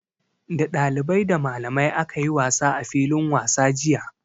Da dalibai, da malamai aka yi wasa a filin wasa jiya.